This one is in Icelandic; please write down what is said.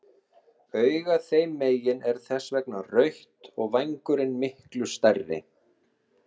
Augað þeim megin er þess vegna rautt og vængurinn miklu stærri.